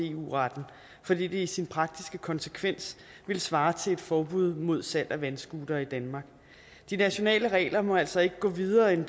eu retten fordi det i sin praktiske konsekvens ville svare til et forbud mod salg af vandscootere i danmark de nationale regler må altså ikke gå videre end